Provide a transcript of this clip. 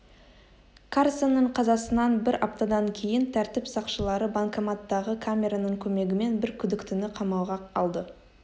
карсонның қазасынан бір аптадан кейін тәртіп сақшылары банкоматтағы камераның көмегімен бір күдіктіні қамауға алды